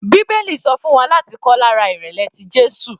Bíbélì sọ fún wa láti kọ́ lára ìrẹ̀lẹ̀ tí Jésù.